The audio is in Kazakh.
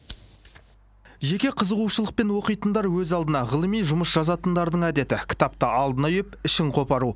жеке қызығушылықпен оқитындар өз алдына ғылыми жұмыс жазатындардың әдеті кітапты алдына үйіп ішін қопару